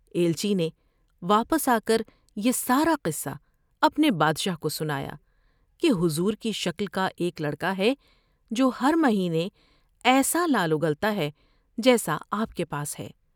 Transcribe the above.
ایلچی نے واپس آ کر یہ سارا قصہ اپنے بادشا و کو سنایا کہ حضور کی شکل کا ایک لڑ کا ہے جو ہر مہینے ایسا لعل اگلتا ہے جیسا آپ کے پاس ہے ۔